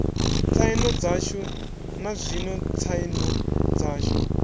tsaino dzashu nazwino tsaino dzashu